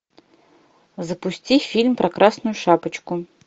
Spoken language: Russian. запусти фильм про красную шапочку